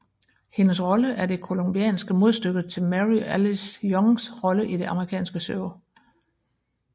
Hendes rolle er det colombianske modstykke til Mary Alice Youngs rolle i det amerikanske show